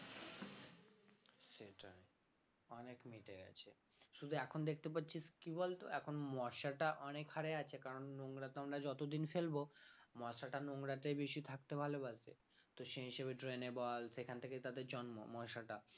শুধু এখন দেখতে পাচ্ছিস কি বলতো এখন মশাটা অনেক হারে আছে কারণ নোংরা তো আমরা যতদিন ফেলবো মশাটা নোংরাতেই বেশি থাকতে ভালোবাসে তো সেই হিসেবে drain এ বল সেখান থেকেই তাদের জন্ম মশাটা